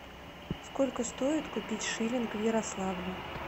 сколько стоит купить шиллинг в ярославле